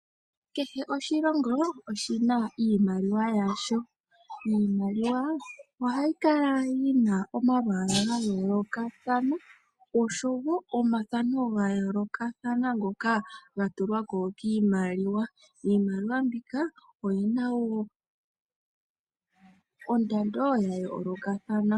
Kehe oshilongo oshina iimaliwa yasho. Iimaliwa ohayi kala yi na omalwaala ga yoolokathana, oshowo omathano ga yoolokathana ngoka ga tulwa ko kiimaliwa. Iimaliwa mbika oyi na wo ondando ya yoolokathana.